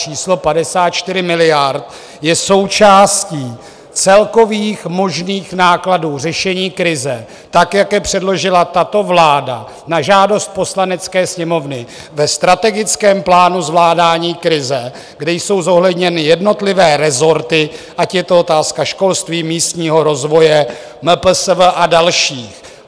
Číslo 54 miliard je součástí celkových možných nákladů řešení krize tak, jak je předložila tato vláda na žádost Poslanecké sněmovny ve Strategickém plánu zvládání krize, kde jsou zohledněny jednotlivé rezorty, ať je to otázka školství, místního rozvoje, MPSV a dalších.